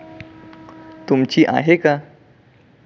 तुमची आहे का?